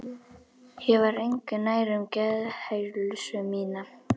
Ég var engu nær um geðheilsu mína.